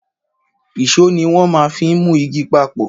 Ìsó ni wọn má n fi mu igi papọ̀